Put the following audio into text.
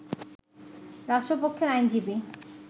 রাষ্ট্রপক্ষের আইনজীবী